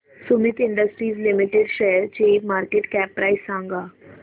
Sumeet industries limited शेअरची market cap price सांगा